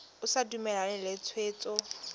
o sa dumalane le tshwetso